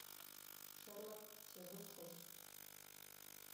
шерлок сезон шесть